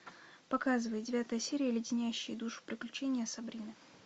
показывай девятая серия леденящие душу приключения сабрины